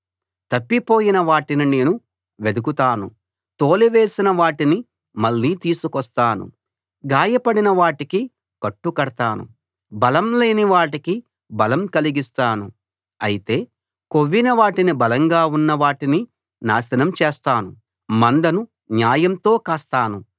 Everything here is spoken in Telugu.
తప్పిపోయిన వాటిని నేను వెదకుతాను తోలివేసిన వాటిని మళ్ళీ తీసుకొస్తాను గాయపడిన వాటికి కట్టుకడతాను బలంలేని వాటికి బలం కలిగిస్తాను అయితే కొవ్విన వాటినీ బలంగా ఉన్న వాటినీ నాశనం చేస్తాను మందను న్యాయంతో కాస్తాను